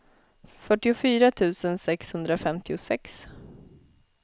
fyrtiofyra tusen sexhundrafemtiosex